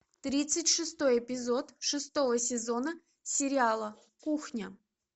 тридцать шестой эпизод шестого сезона сериала кухня